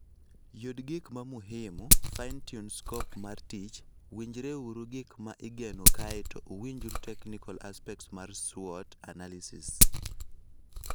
Yud gik ma muhimu ,finetune scope mar tich, winjre uru gik ma igeno kae to uwinjru technical aspects mar SWOT analysis.